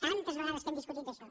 tantes vegades que hem discutit d’això